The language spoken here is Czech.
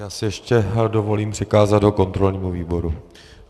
Já si ještě dovolím přikázat ho kontrolnímu výboru.